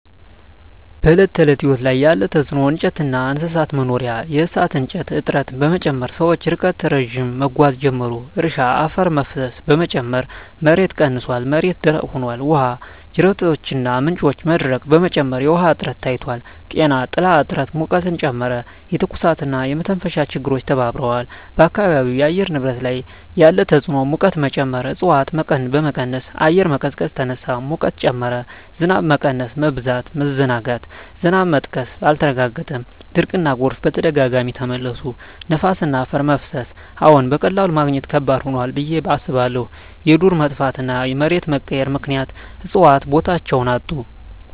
በዕለት ተዕለት ሕይወት ላይ ያለ ተጽዕኖ እንጨትና እንስሳት መኖሪያ የእሳት እንጨት እጥረት በመጨመር ሰዎች ርቀት ረዥም መጓዝ ጀመሩ። እርሻ አፈር መፍሰስ በመጨመር ምርት ቀንሷል፣ መሬት ደረቅ ሆኗል። ውሃ ጅረቶችና ምንጮች መድረቅ በመጨመር የውሃ እጥረት ታይቷል። ጤና ጥላ እጥረት ሙቀትን ጨመረ፣ የትኩሳትና የመተንፈሻ ችግሮች ተባብረዋል። በአካባቢው የአየር ንብረት ላይ ያለ ተጽዕኖ ሙቀት መጨመር እፅዋት በመቀነስ አየር መቀዝቀዝ ተነሳ፣ ሙቀት ጨመረ። ዝናብ መቀነስ/መበዛት መዘናጋት ዝናብ መጥቀስ አልተረጋገጠም፣ ድርቅና ጎርፍ በተደጋጋሚ ተመለሱ። ነፋስና አፈር መፍሰስ አዎን፣ በቀላሉ ማግኘት ከባድ ሆኗል ብዬ አስባለሁ። የዱር መጥፋትና መሬት መቀየር ምክንያት እፅዋት ቦታቸውን አጡ።